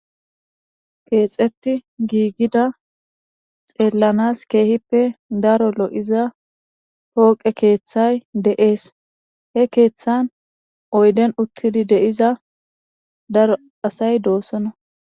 Keexeththi gigida xeellanas keehippe daro lo7iza pooqe keeththay de7ees; he keeththan oyden uththizi de7iza daro asay doosona.